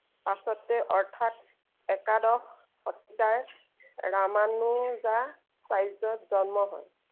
পাছতে অৰ্থাৎ একাদশ শতিকাৰ ৰামানুজা চাৰ্যত জন্ম হয়।